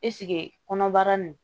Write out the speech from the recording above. Ɛseke kɔnɔbara nin